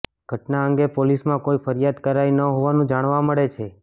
ઘટના અંગે પોલીસમાં કોઇ ફરિયાદ કરાઇ ન હોવાનું જાણવા મળે છે